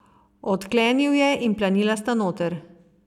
Odklenil je in planila sta noter.